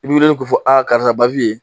I bi wili k'o fɔ, a karisa Bawiye